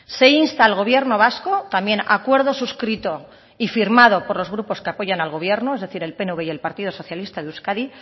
se insta al gobierno vasco también acuerdo suscrito y firmado por los grupos que apoyan al gobierno es decir el pnv y el partido socialista de euskadi